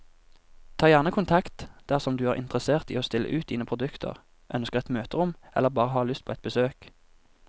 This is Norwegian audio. Ta gjerne kontakt dersom du er interessert i å stille ut dine produkter, ønsker et møterom eller bare har lyst på et besøk.